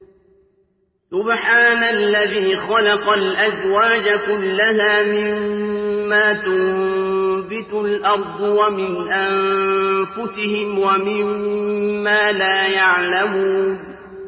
سُبْحَانَ الَّذِي خَلَقَ الْأَزْوَاجَ كُلَّهَا مِمَّا تُنبِتُ الْأَرْضُ وَمِنْ أَنفُسِهِمْ وَمِمَّا لَا يَعْلَمُونَ